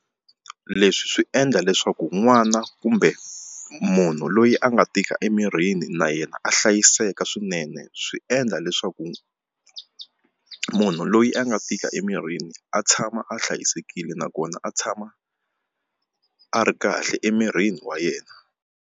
Leswi swi endla leswaku n'wana kumbe munhu loyi a nga tika emirini na yena a hlayiseka swinene swi endla leswaku munhu loyi a nga tika emirini a tshama a hlayisekile nakona a tshama a ri kahle emirini wa yena.